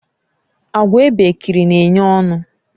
Àgwà ebekiri na enye ọṅụ